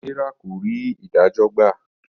Serah kò rí idajọ gbà.